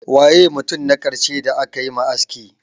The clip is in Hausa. Waye mutum na karshe da aka yi ma aski?